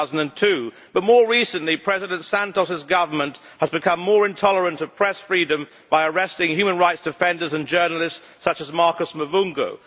2002. But more recently, President Santos' government has become more intolerant of press freedom by arresting human rights defenders and journalists such as Marcos Mavungo.